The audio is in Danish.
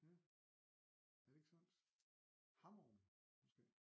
Ja er det ikke Sunds Hammerum måske